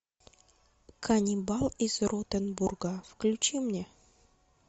каннибал из ротенбурга включи мне